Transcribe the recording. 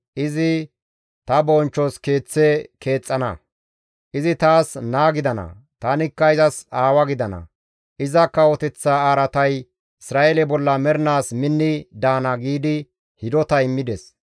Izi ta bonchchos Keeththe keexxana; izi taas naa gidana; tanikka izas aawa gidana; iza kawoteththa araatay Isra7eele bolla mernaas minni daana› giidi hidota immides.